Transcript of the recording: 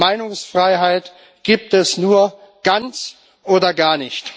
Meinungsfreiheit gibt es nur ganz oder gar nicht.